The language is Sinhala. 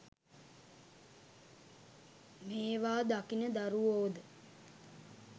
මේවා දකින දරුවෝද